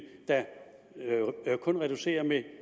reducere med